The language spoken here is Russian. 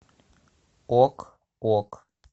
ок ок